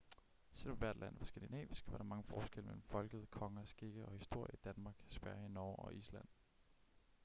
selv om hvert land var skandinavisk var der mange forskelle mellem folket konger skikke og historie i danmark sverige norge og island